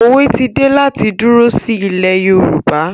Òwe ti dé láti dúró sí ilẹ̀ Yorùbá